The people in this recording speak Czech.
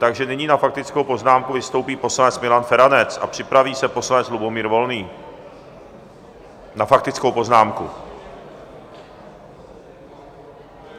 Takže nyní na faktickou poznámku vystoupí poslanec Milan Feranec a připraví se poslanec Lubomír Volný na faktickou poznámku.